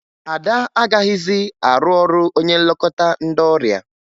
Ada agaghịzị arụ ọrụ onye nlekọta ndị ọrịa